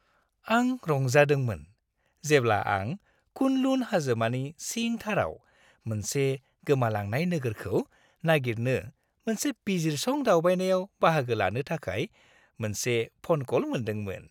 आं रंजादोंमोन जेब्ला आं कुन-लुन हाजोमालानि सिंथाराव मोनसे गोमालांनाय नोगोरखौ नागिरनो मोनसे बिजिरसं-दावबायनायाव बाहागो लानो थाखाय मोनसे फ'न कल मोनदोंमोन।